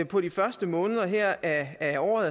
på de første måneder af af året